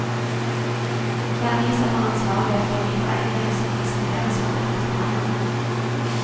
Det er vi som er ansvarlige for de beregningene som presenteres for departementet.